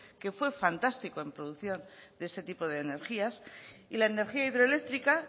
que fue fantástico en producción de este tipo de energías y la energía hidroeléctrica